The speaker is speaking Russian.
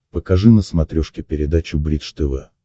покажи на смотрешке передачу бридж тв